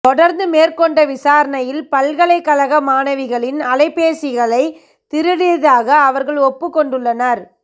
தொடர்ந்து மேற்கொண்ட விசாரணையில் பல்கலைக்கழக மாணவிகளின் அலைபேசிகளை திருடியதாக அவர்கள் ஒப்புக் கொண்டுள்ளனர்